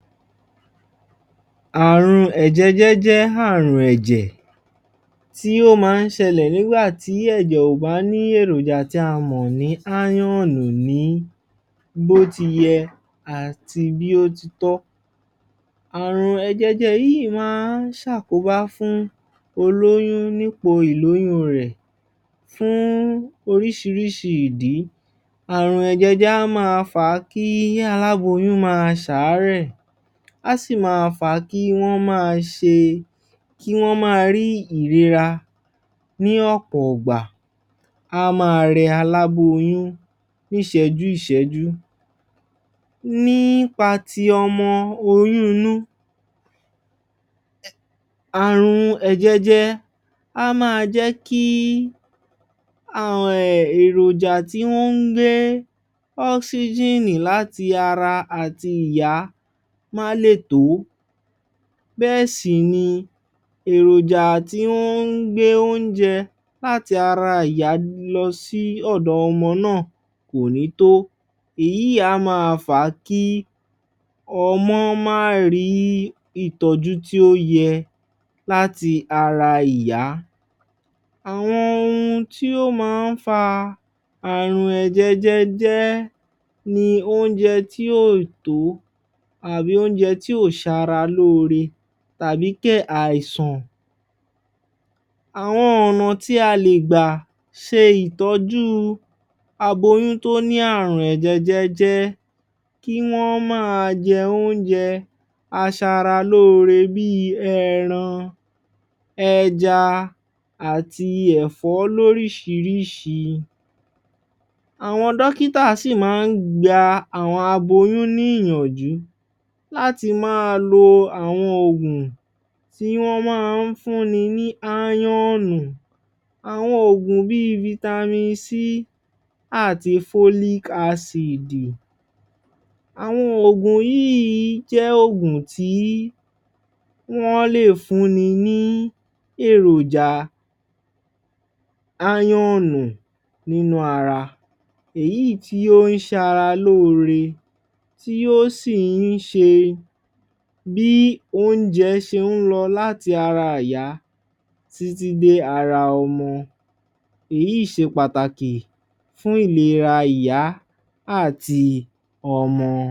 Àrùn èjẹ̀jẹ̀ jẹ àrùn ẹ̀jẹ̀, tí ó máa ń ṣẹlẹ̀ nígbà tí ẹ̀jẹ̀ ò bá ní èròjà tí a mọ̀ ní írọ̀nù ní bó ti yẹ àti bí ó ti tọ́. Àrùn èjẹ̀jẹ̀ yìí máa ń ṣàkóbá fún olóyún nípò ìlóyún rẹ̀ fún oríṣiiríṣi ìdí. rùn èjẹ̀jẹ̀ á máa fa kí aláboyún maa ṣàárẹ̀, á sì maa fa kí wọ́n maa ṣe, kí wọ́n maa rí ìrora, ní ọ̀pọ̀ ìgbà,a á maa rẹ aláboyún ní ìṣéjú ṣẹ́jú. Nípa ti ọmọ oyún inú, Er Àrùn èjẹ̀jẹ̀ máa ń jẹ́ kí èròjà tí ó ń gbé ọ́síjínì láti ara àti ìyá má lé tó, bẹ́ẹ̀ sì ni èròjà tí ó ń gbé óúnjẹ láti ara ìyá lọ sí ọ̀dọ ọmọ náà kò ní tó, Èyí á maa fa kí ọmọ máa rí ìtọ́jú tí ó yẹ, láti ara ìyá. Àwọn ohun tí ó máa ń fa àrùn ẹ̀jẹ̀jẹ̀ ni óúnjẹ tí ó tọ́, àbí óúnjẹ tí ó ṣara lóóre. tàb́i kè àìsàn. Àwọn ọ̀nà tí a lè gbà ṣe ìtọ́jú aboyún tó ní àrùn ẹ̀jẹ̀jẹ̀, kí wọ́n maa jẹ óúnjẹ aṣaralóore, bí ẹran, ẹja àti ẹ̀fọ́ lórííṣirísi. Àwọn dókítà sí máa ń gba àwọn aboyún níyànjú láti máa lo àwọn òògùn tí wọ́n máa ń fún ni ní írọ̀nù, Àwọn òògùn bí vitamin c àti folic asìdì. òògùn yìí lè jẹ́ òògùn tí wọ́n lè fún ni ní èròjà írònù nínú ara. Èyí tí ó ń ṣara lóore tí ó sí ǹ ṣe bí óúnjẹ ṣe ń lọ láti ara ìyá títí dé ara ọmọ. Èyí ṣe pàtàkì fún ìlera ìyá àti ọmọ.